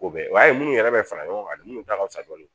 O bɛɛ o y'a ye munnu yɛrɛ bɛ fara ɲɔgɔn kan de minnu ta ka fisa dɔɔni